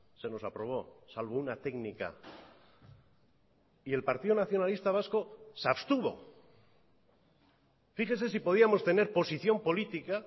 se nos aprobó salvo una técnica y el partido nacionalista vasco se abstuvo fíjese si podíamos tener posición política